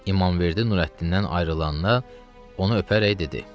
İmamverdi Nurəddindən ayrılanda onu öpərək dedi: